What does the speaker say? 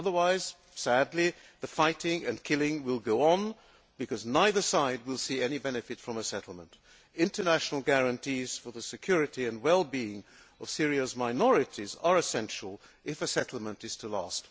Otherwise, sadly, the fighting and killing will go on, because neither side will see any benefit from a settlement. International guarantees for the security and wellbeing of Syria's minorities are essential if a settlement is to last.